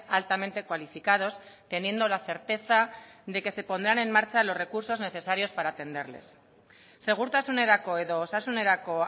altamente cualificados teniendo la certeza de que se pondrán en marcha los recursos necesarios para atenderles segurtasunerako edo osasunerako